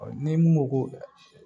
ni mun m'o ko